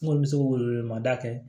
N kɔni bɛ se ko weele ma da kɛ